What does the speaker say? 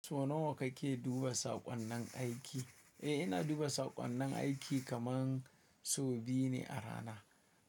So nawa kake duba saƙonnin aiki? Eh, ina duba saƙonnin aiki kaman sau biyu ne a rana.